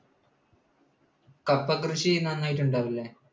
കപ്പ കൃഷി നന്നായിട്ട് ഉണ്ടാവും അല്ലേ?